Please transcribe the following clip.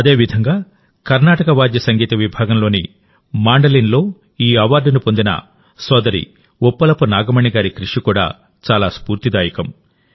అదేవిధంగాకర్నాటక వాద్య సంగీత విభాగంలోని మాండలిన్లో ఈ అవార్డును పొందిన సోదరి ఉప్పలపు నాగమణి గారి కృషి కూడా చాలా స్ఫూర్తిదాయకం